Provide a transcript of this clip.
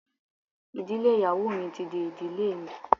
Ìdílé ìyàwó mi ti di ìdílé mi.